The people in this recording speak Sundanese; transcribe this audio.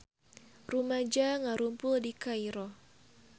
Rumaja ngarumpul di Kairo